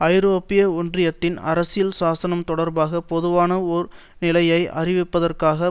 ஐரோப்பிய ஒன்றியத்தின் அரசியல் சாசனம் தொடர்பாக பொதுவான ஒரு நிலையை அறிவிப்பதற்காக